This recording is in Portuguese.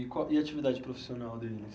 E qual e a atividade profissional deles?